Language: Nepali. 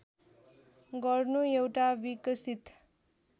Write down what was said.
गर्नु एउटा विकसित